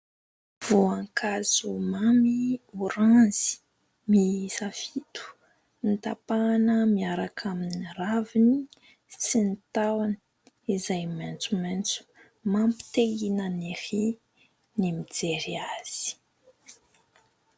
Voankazo mamy, oranzy miisa fito, notapahana miaraka amin'ny raviny sy tahony maitsomaitso. Mampite hihinana ery ny mijery azy.